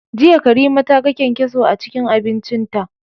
Jiya Karima ta ga kyankyaso a cikin abincinta.